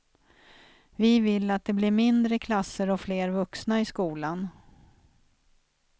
Vi vill att det blir mindre klasser och fler vuxna i skolan.